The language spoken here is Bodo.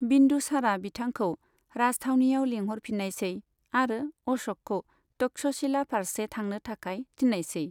बिन्दुसारा बिथांखौ राजथावनिआव लिंहरफिन्नायसै आरो अश'कखौ तक्षशिला फारसे थांनो थाखाय थिन्नायसै।